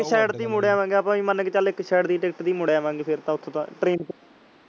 ਸਿੱਧੇ ਤੇ ਹੀ ਮੁੜ ਆਵਾਂਗੇ ਆਪ ਐਨ ਮਾਨਲਾਂਗੇ ਚਲ ਇਕ ਸਿੱਧੇ ਦੀ ticket ਤੇ ਹੀ ਮੁੜ ਆਵਾਂਗੇ ਫੇਰ ਤਾਂ ਓਥੋਂ ਤਾਂ train ਤੇ।